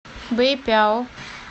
бэйпяо